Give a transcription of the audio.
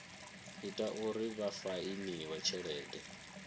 ita uri vha fainiwe tshelede